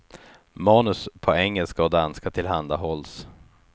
Manus på engelska och danska tillhandahålls.